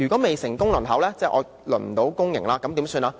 未成功輪候，即未能獲派公營院舍，怎麼辦呢？